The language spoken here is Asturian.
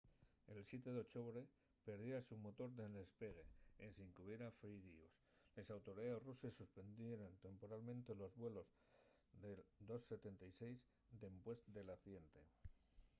el siete d’ochobre perdiérase un motor nel despegue ensin qu’hubiera firíos. les autoridaes ruses suspendieran temporalmente los vuelos del ii-76 dempués del accidente